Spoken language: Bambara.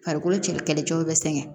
Farikolo kɛlɛkɛcɛw bɛ sɛgɛn